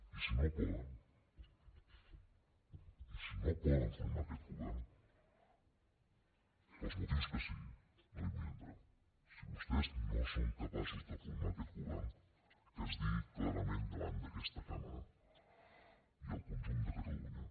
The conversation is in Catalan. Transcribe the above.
i si no poden i si no poden formar aquest govern pels motius que sigui no hi vull entrar si vostès no són capaços de formar aquest govern que es digui clarament davant d’aquesta cambra i al conjunt de catalunya